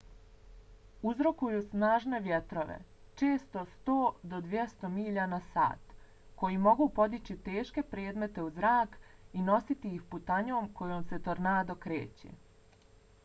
uzrokuju snažne vjetrove često 100-200 milja/sat koji mogu podići teške predmete u zrak i nositi ih putanjom kojom se tornado kreće